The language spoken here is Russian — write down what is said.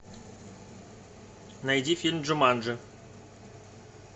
найди фильм джуманджи